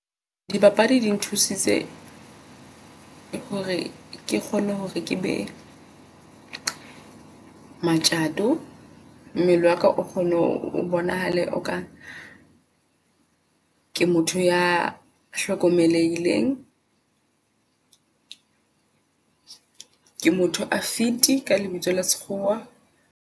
Dipapadi di nthusitse hore ke kgone hore ke be matjato. Mmele waka o kgone ho bonahala o ka ke motho ea hlokomelehile Ke motho a fit ka lebitso la sekgowa.